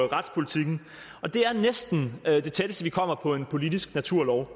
retspolitikken og det er næsten det tætteste vi kommer på en politisk naturlov